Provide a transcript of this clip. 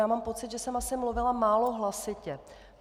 Já mám pocit, že jsem asi mluvila málo hlasitě.